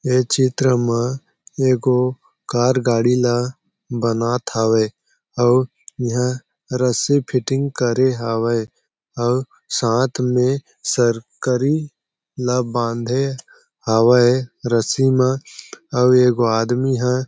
ये चित्र मा एगो कार गाड़ी ला बनात हावे आऊ इहा रस्सी फिटिंग करे हावय आऊ साथ में सरकरी ला बांधे हावय रस्सी म आऊ एगो आदमी हह--